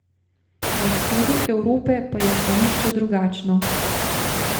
Na vzhodu Evrope pa je stališče drugačno.